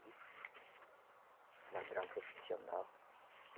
Ladrão profissional.